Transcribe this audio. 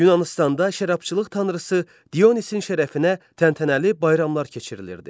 Yunanıstanda şərabçılıq tanrısı Dionisin şərəfinə təntənəli bayramlar keçirilirdi.